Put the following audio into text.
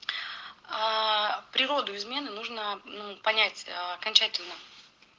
аа природу измены нужно мм понять аа окончательно